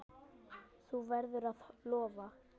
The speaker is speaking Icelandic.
Þú verður að lofa!